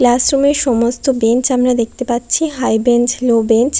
Classroom এ সমস্ত bench আমরা দেখতে পাচ্ছি হাই বেঞ্চ লো বেঞ্চ ।